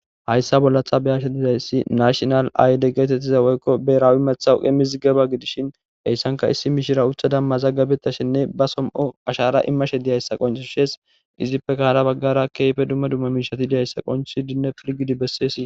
Hayssa bollatha beyashe dizayssi nashinal ayde geetettiza woykko beraawi methawuqe mizigaba gidishin heyssanka issi mishira uthada mazaggabeta shinne ba som7o ashara immashe diyayssa qoncu shees izippe kahara baggara keyfe dumma dumma miishati diyayssa qonchui dinne pirgidi besseesii.